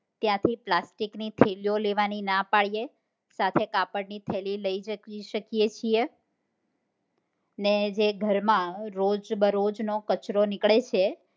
ત્યાંથી પ્લાસ્ટિક નો થેલી ઓ લેવાની ના પાડીએ સાથે કાપડ ની થેલી લઇ જય શકીએ છીએ ને જે ઘરમાં રોજબરોજ નો કચરો નીકળે છે